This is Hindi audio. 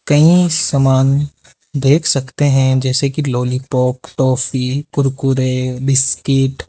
कई सामान देख सकते हैं जैसे कि लॉलीपॉप ट्रॉफी कुरकुरे बिस्कुट ।